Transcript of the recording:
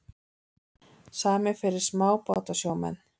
Samið fyrir smábátasjómenn